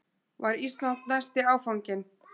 Var Ísland næsti áfanginn?